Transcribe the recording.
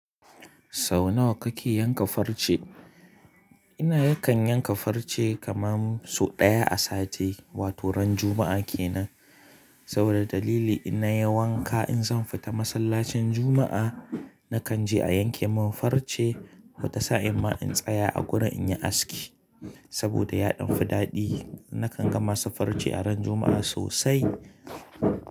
Sau nawa kake yanka farce? Ina yakan yanka farce kamar sau ɗaya a sati, wato ran Juma'a kenan. Saboda dalili in na yi wanka in zan fita masallacin Juma'a, nakan je a yanke man farce, wata sa'in ma in tsaya a gurin in yi aski. Saboda yaɗian fiɗaɗi, nakan gama safarce a ran Juma'a sosai.